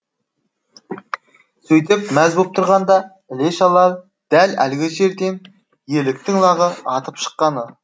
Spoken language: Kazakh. сөйтіп мәз боп тұрғанда іле шала дәл әлгі жерден еліктің лағы атып шыққаны